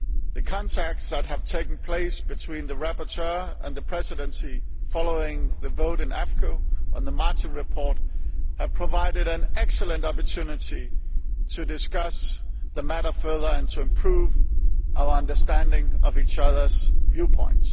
The contacts that have taken place between the rapporteur and the Presidency following the vote in AFCO on the Martin report have provided an excellent opportunity to discuss the matter further and to improve our respective understanding of each other's viewpoint.